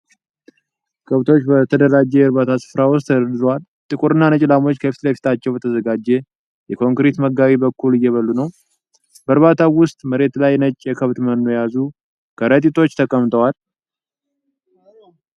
ከብቶች በተደራጀ የእርባታ ስፍራ ውስጥ ተደርድረዋል። ጥቁርና ነጭ ላሞች ከፊት ለፊታቸው በተዘጋጀ የኮንክሪት መጋቢ በኩል እየበሉ ነው። በእርባታው ውስጥ መሬት ላይ ነጭ የከብት መኖ የያዙ ከረጢቶች ተቀምጠዋል።